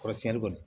Kɔrɔsiɲɛni